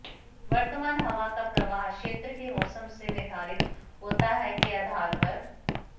वर्तमान हवा का प्रवाह क्षेत्र के मौसम से निर्धारित होता है के आधार पर